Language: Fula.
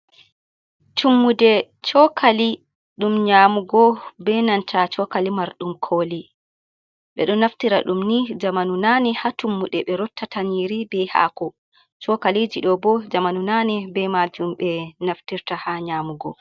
"Tummude chokali ɗum nyamugo benanta chokali mar ɗum koli ɓeɗo naftira ɗum ni zamanu nane ha tummude ɓe rotta ta nyiri be hako chokaliji ɗo bo zamanu nane be majum ɓe naftirta ha nyamugo.